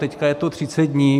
Teď je to 30 dní.